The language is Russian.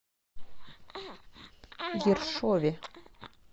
ершове